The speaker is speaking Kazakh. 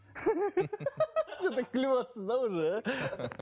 күліп отырсыз да уже